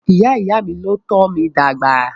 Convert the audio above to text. Ìyá ìyá mí ní o tọ́ mí dàgbà.